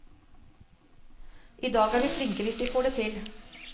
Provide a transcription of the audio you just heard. I dag er vi flinke hvis vi får det til.